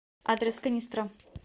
адрес канистра